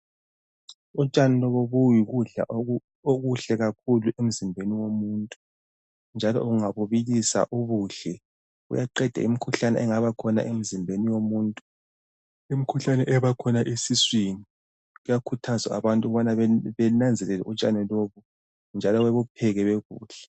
Utshani lobu buyikudla okuhle kakhulu emzimbeni womuntu njalo ungabubilisa ubudle buyaqeda imikhuhlane engaba khona emzimbeni yomuntu. Imikhuhlane ebakhona esiswini kuyakhuthazwa abantu ukubana benanzelele utshani lobu njalo bebupheke bebudle.